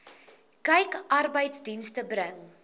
kyk arbeidsdienste bring